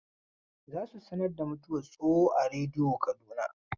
Za su sanar da mutuwar Tsoho a rediyo Kaduna.